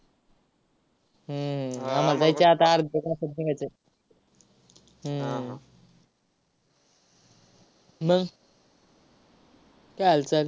हम्म आता अर्ध्या तासात निघायचंआहे. हम्म मग, काय हालचाल?